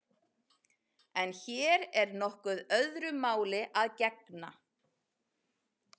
En hér er nokkuð öðru máli að gegna.